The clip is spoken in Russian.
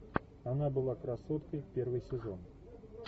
она была красоткой первый сезон